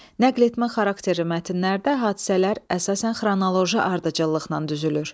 Nəql etmə xarakterli mətnlərdə hadisələr əsasən xronoloji ardıcıllıqla düzülür.